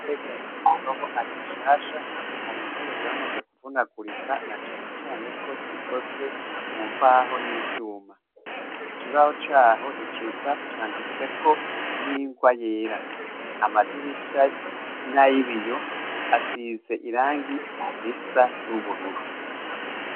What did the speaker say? Ishure rya Nyamutobo ari rishasha, hari intebe zamaze kuvunagurika na cane cane ko zikozwe mumbaho n'ivyuma. Ikibaho caho ni ciza canditseko n'ingwa yera, amadirisha ni ay'ibiyo, asize irangi risa n'ubururu.